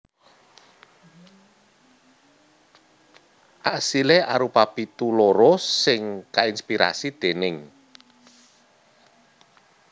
Asilé arupa pitu loro sing kainspirasi déning